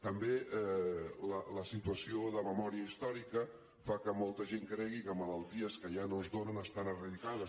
també la situació de memòria històrica fa que molta gent cregui que malalties que ja no es donen estan eradicades